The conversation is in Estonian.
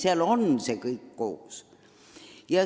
Seal on see kõik koos.